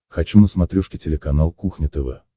хочу на смотрешке телеканал кухня тв